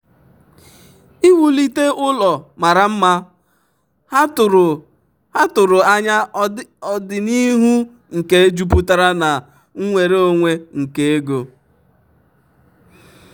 iwulite ụlọ mara mma ha tụrụ anya ọdịnihu nke jupụtara na nnwere onwe nke ego.